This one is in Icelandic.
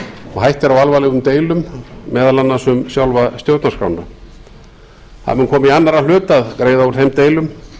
og hætta er á alvarlegum deilum meðal annars um sjálfa stjórnarskrána það er komið í annarra hlut að greiða úr þeim deilum